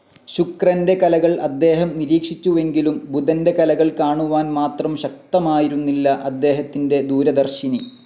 ശുക്രന്റെ കലകൾ അദ്ദേഹം നിരീക്ഷിച്ചുവെങ്കിലും ബുധന്റെ കലകൾ കാണുവാൻ മാത്രം ശക്തമായിരുന്നില്ല അദ്ദേഹത്തിന്റെ ദൂരദർശിനി.